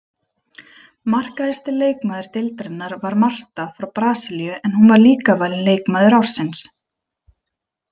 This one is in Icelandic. Markahæsti leikmaður deildarinnar var Marta frá Brasilíu en hún var líka valin leikmaður ársins.